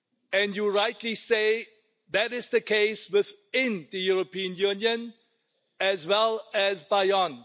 and you rightly say that is the case within the European Union as well as beyond.